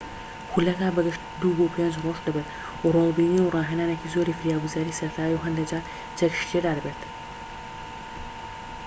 خولەکە بە گشتی ٢-٥ رۆژ دەبێت و ڕۆڵ بینین و ڕاهێنانێکی زۆری فریاگوزاریی سەرەتایی و هەندێكجار چەکیشی تێدا دەبێت